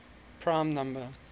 prime number